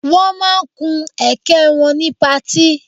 Wọ́n ma kun ẹ̀kẹ́ wọn ni pati